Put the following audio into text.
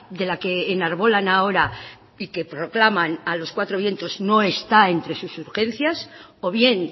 de la que enarbolan ahora y que proclaman a los cuatro vientos no está entre sus urgencias o bien